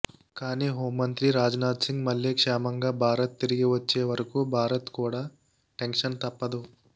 కానీ హోంమంత్రి రాజ్ నాథ్ సింగ్ మళ్ళీ క్షేమంగా భారత్ తిరిగి వచ్చే వరకు భారత్ కూడా టెన్షన్ తప్పదు